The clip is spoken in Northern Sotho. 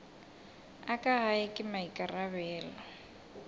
a ka gae ke maikarabelo